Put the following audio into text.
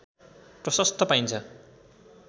प्रशस्त पाइन्छ